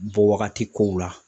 Bɔ wagati kow la